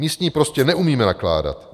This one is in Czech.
My s ní prostě neumíme nakládat.